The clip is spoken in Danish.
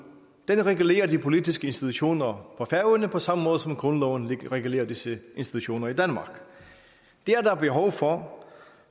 den regulerer de politiske institutioner på færøerne på samme måde som grundloven regulerer disse institutioner i danmark det er der behov for